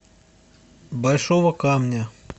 большого камня